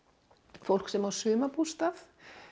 fólk sem á sumarbústað